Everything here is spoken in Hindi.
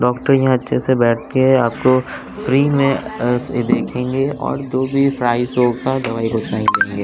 डॉक्टर यहाँ अच्छे से बैठ के आपको फ्री में अ देखेंगे और जो भी प्राइस होगा दवाई बताए देंगे।